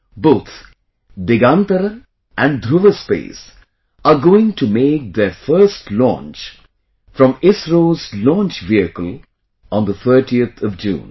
Both Digantara and Dhruva Space are going to make their first launch from ISRO's launch vehicle on the 30th of June